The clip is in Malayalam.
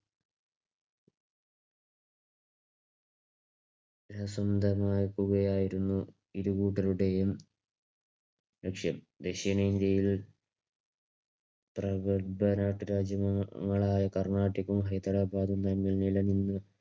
പ്രസിദ്ധമായിരിക്കുകയായിരുന്നു ഇരു കൂട്ടരുടെയും ലക്ഷ്യം. ദക്ഷിണേന്ത്യയിൽ പ്രബുദ്ധരായ രാജ്യങ്ങളായ കർണാട്ടിക്കും ഹൈദരാബാദതും തമ്മിൽ നിലനിന്നു